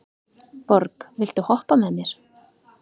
Borg, viltu hoppa með mér?